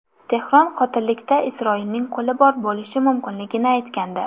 Tehron qotillikda Isroilning qo‘li bor bo‘lishi mumkinligini aytgandi.